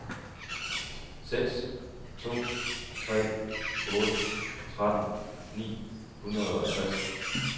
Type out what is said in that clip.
seks to tre otte tretten ni hundrede og tres